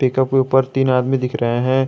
Pickup के ऊपर तीन आदमी दिख रहे हैं।